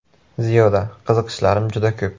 Ziyoda: Qiziqishlarim juda ko‘p.